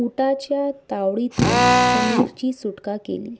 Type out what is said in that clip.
उंटाच्या तावडीतून समीरची सुटका केली